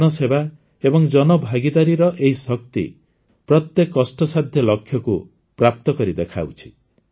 ଜନସେବା ଏବଂ ଜନଭାଗିଦାରୀର ଏହି ଶକ୍ତି ପ୍ରତ୍ୟେକ କଷ୍ଟସାଧ୍ୟ ଲକ୍ଷ୍ୟକୁ ପ୍ରାପ୍ତକରି ଦେଖାଉଛି